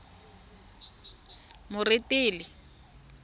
moretele